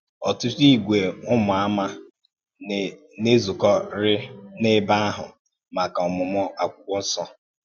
Ọ̀tùtù ìgwè Ụ́mù Àmà na-èzukọ̀karì n’ẹ̀bè ahụ̀ maka òmùmụ̀ Ákwụ́kwọ́ Nsọ.